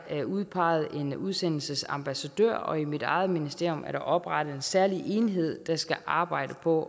udpeget en udsendelsesambassadør og i mit eget ministerium er der oprettet en særlig enhed der skal arbejde på